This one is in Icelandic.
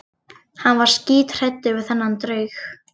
Hann var skíthræddur við þennan draug.